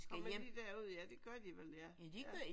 Kommer de derud ja det gør de vel ja